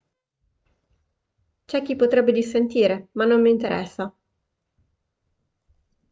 c'è chi potrebbe dissentire ma non mi interessa